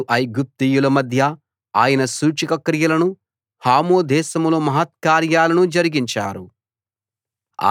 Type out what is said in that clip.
వారు ఐగుప్తీయుల మధ్య ఆయన సూచక క్రియలను హాము దేశంలో మహత్కార్యాలను జరిగించారు